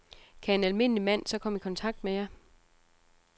Kan en almindelig mand så komme i kontakt med jer?